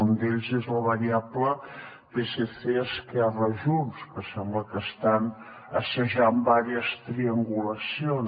un d’ells és la variable psc esquerra junts que sembla que estan assajant diverses triangulacions